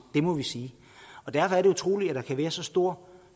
det må vi sige og derfor er det utroligt at der kan være så stor